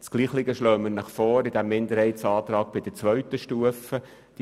Dasselbe schlagen wir Ihnen bei der zweiten Stufe vor.